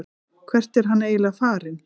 Hvert er hann eiginlega farinn?